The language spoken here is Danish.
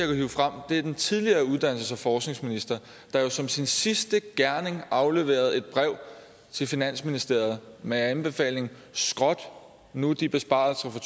hive frem er den tidligere uddannelses og forskningsminister der jo som sin sidste gerning afleverede et brev til finansministeriet med anbefalingen skrot nu de besparelser fra